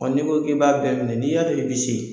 Ɔ n'i ko k'i b'a bɛɛ minɛ n'i y'a dɔn i bi se.